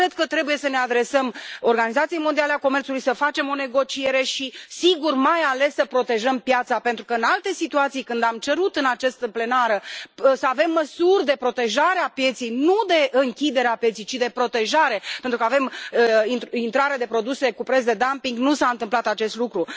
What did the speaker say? Cred că trebuie să ne adresăm Organizației Mondiale a Comerțului, să facem o negociere și, sigur, mai ales, să protejăm piața, pentru că, în alte situații, când am cerut în această plenară să avem măsuri de protejare a pieței, nu de închidere a pieței, ci de protejare, pentru că avem intrare de produse cu preț de dumping, nu s a întâmplat acest lucru.